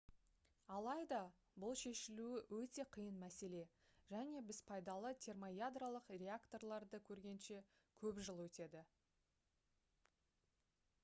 алайда бұл шешілуі өте қиын мәселе және біз пайдалы термоядролық реакторларды көргенше көп жыл өтеді